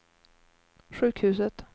sjukhuset